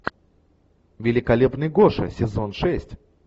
великолепный гоша сезон шесть